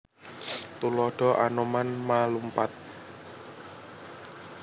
Tuladha Anoman ma/lumpat